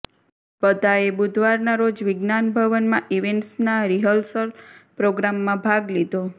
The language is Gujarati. બધાએ બુધવારના રોજ વિજ્ઞાન ભવનમાં ઇવેન્ટ્સના રિહર્સલ પ્રોગ્રામમાં ભાગ લીધો